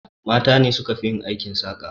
Mata ne suka fi yin aikin saƙa.